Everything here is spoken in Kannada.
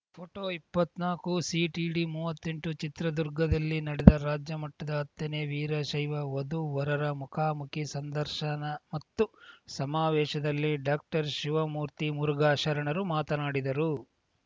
ಪೋಟೊ ಇಪ್ಪತ್ನಾಕುಸಿಟಿಡಿಮೂವತ್ತೆಂಟು ಚಿತ್ರದುರ್ಗದಲ್ಲಿ ನಡೆದ ರಾಜ್ಯಮಟ್ಟದ ಹತ್ತನೇ ವೀರಶೈವ ವಧುವರರ ಮುಖಾಮುಖಿ ಸಂದರ್ಶನ ಮತ್ತು ಸಮಾವೇಶದಲ್ಲಿ ಡಾಕ್ಟರ್ಶಿವಮೂರ್ತಿ ಮುರುಘಾ ಶರಣರು ಮಾತನಾಡಿದರು